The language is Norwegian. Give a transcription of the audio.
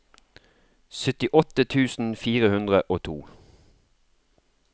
syttiåtte tusen fire hundre og to